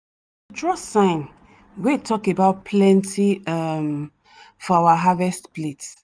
draw sign wey talk about plenty um for our family harvest plate.